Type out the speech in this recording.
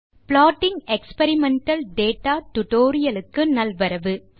hello friends இந்த plotting experimental data க்கு நல்வரவு